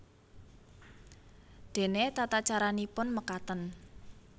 Dene tatacaranipun mekaten